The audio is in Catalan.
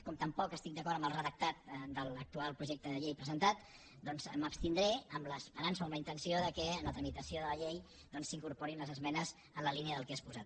com tampoc estic d’acord amb el redactat de l’actual projecte de llei presentat doncs m’abstindré amb l’esperança o amb la intenció que en la tramitació de la llei s’hi incorporin les esmenes en la línia del que he exposat